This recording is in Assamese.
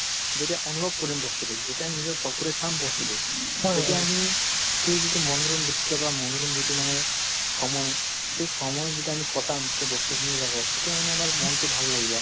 যেতিয়া অনুভৱ কৰিম বস্তুতোক যেতিয়া আমি নিজৰ চকুৰে চাম বস্তুতোক তেতিয়া অমি সেই যিটো মনোৰম দৃশ বা মনোৰম যিটো মানে সময় সেই সময় যেতিয়া আমি কটাম সেই বস্তুখিনিৰ লগত তেতিয়া মানে আমাৰ মনতো ভাল লাগিব আমি